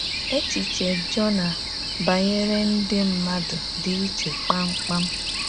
Echiche Jona banyere ndị mmadụ dị iche kpamkpam.